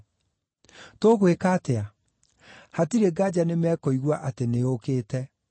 Tũgwĩka atĩa? Hatirĩ ngaanja nĩmekũigua atĩ nĩũũkĩte.